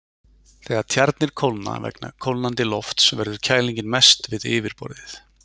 Þegar tjarnir kólna vegna kólnandi lofts verður kælingin mest við yfirborðið.